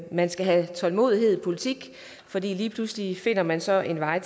man skal have tålmodighed i politik for lige pludselig finder man så en vej